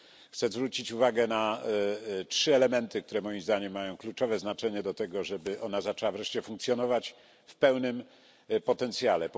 Chcę zwrócić uwagę na trzy elementy, które moim zdaniem mają kluczowe znaczenie dla tego, żeby zaczęła ona wreszcie funkcjonować w pełnym potencjale.